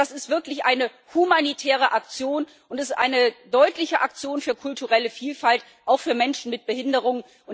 Also das ist wirklich eine humanitäre Aktion, und es ist eine deutliche Aktion für kulturelle Vielfalt auch für Menschen mit Behinderung.